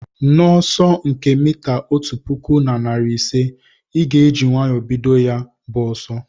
N'ọsọ nke mita otu pụkụ na narị ise, ị ga-eji nwayọọ bido ya bụ ọsọ